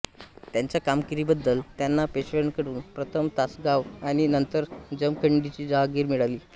त्यांच्या कामगिरीबद्दल त्यांना पेशव्यांकडून प्रथम तासगाव आणि नंतर जमखंडीची जहागिर मिळाली